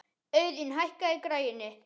Auðun, hækkaðu í græjunum.